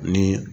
Ni